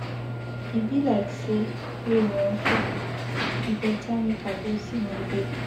E be like say rain wan fall, e better make I go see my babe.